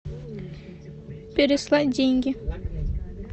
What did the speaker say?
переслать деньги